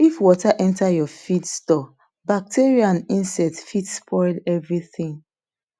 if water enter your feed store bacteria and insects fit spoil everything